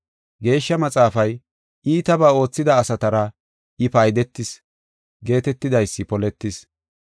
Geeshsha Maxaafay, “Iitabaa oothida asatara I paydetis” geetetidaysi poletis.